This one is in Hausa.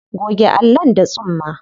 Goge allon da tsumma.